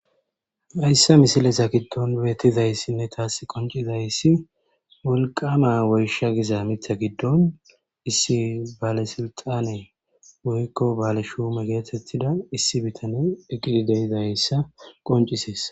Hayssa misilesa giddon beettizays sinne taas qoncizayssi woliqama woysha giza mita giddon issi baalesilxane woyiko baale shuume geetettida issi bitane eqqidideyizayssa qonciseess